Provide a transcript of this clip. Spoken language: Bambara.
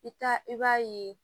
I ka i b'a ye